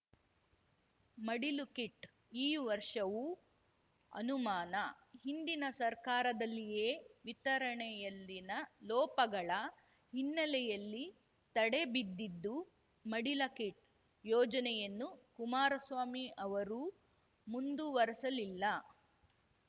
ಮಡಿಲು kit ಈ ವರ್ಷವೂ ಅನುಮಾನ ಹಿಂದಿನ ಸರ್ಕಾರದಲ್ಲಿಯೇ ವಿತರಣೆಯಲ್ಲಿನ ಲೋಪಗಳ ಹಿನ್ನೆಲೆಯಲ್ಲಿ ತಡೆ ಬಿದ್ದಿದ್ದು ಮಡಿಲು ಕಿಟ್‌ ಯೋಜನೆಯನ್ನು ಕುಮಾರಸ್ವಾಮಿ ಅವರೂ ಮುಂದುವರೆಸಲಿಲ್ಲ